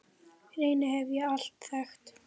Reyni hef ég alltaf þekkt.